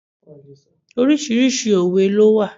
Oríṣiríṣi òwe ló wà.